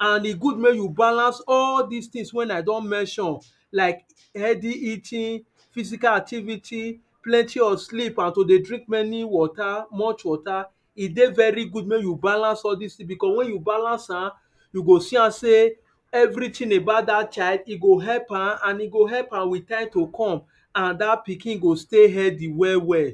And e good make you balance all these things wey I don mention like healthy eating, physical activity, plenty of sleep and to dey drink many water, much water, e dey very good make you balance all these things because when you balance am, you go see am sey everything about that child e go help am, and e go help am in time to come and that pikin go stay healthy well well